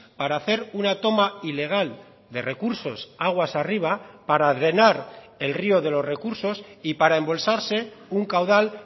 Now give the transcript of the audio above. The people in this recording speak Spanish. para hacer una toma ilegal de recursos aguas arriba para drenar el río de los recursos y para embolsarse un caudal